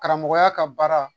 Karamɔgɔya ka baara